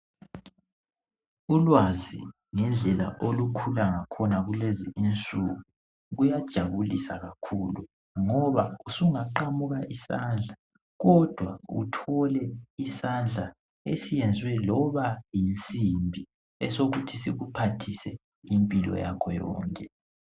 Ulwazi ngendlela olukhula ngakhona kulezi insuku kuyajabulisa kakhulu ngoba usungaqamuka isandla kodwa uthole isandla esenziwe loba yinsimbi esokuthi sikuphathise impilo yakho yonke